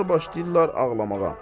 Adamlar başlayırlar ağlamağa.